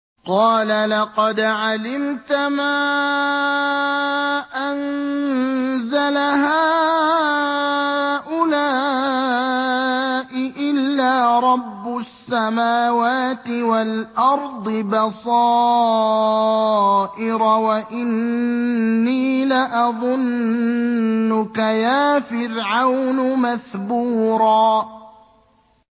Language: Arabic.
قَالَ لَقَدْ عَلِمْتَ مَا أَنزَلَ هَٰؤُلَاءِ إِلَّا رَبُّ السَّمَاوَاتِ وَالْأَرْضِ بَصَائِرَ وَإِنِّي لَأَظُنُّكَ يَا فِرْعَوْنُ مَثْبُورًا